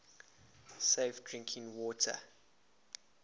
safe drinking water